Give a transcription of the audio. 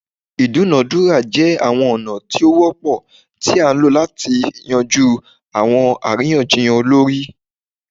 Idunadura jẹ awọn ọna ti o wọpọ ti a lo lati yanju awọn ariyanjiyan olori